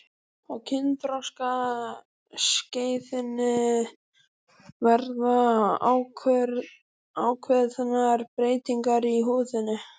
á kynþroskaskeiðinu verða ákveðnar breytingar í húðinni